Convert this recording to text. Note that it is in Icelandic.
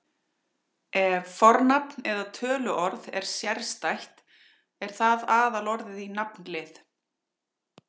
Ef fornafn eða töluorð er sérstætt er það aðalorðið í nafnlið.